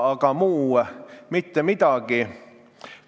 Aga mitte miski muu.